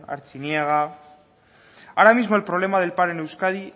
artziniega ahora mismo el problema del paro en euskadi